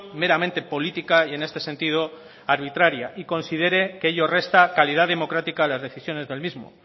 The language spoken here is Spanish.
meramente política y en este sentido arbitraria y considere que ello resta calidad democrática las decisiones del mismo